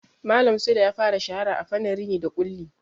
Malam Sule ya fara shahara a fannin rini da ƙulli.